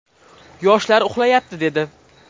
Yoshlar uxlayapti, dedi.